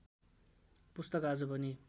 पुस्तक आज पनि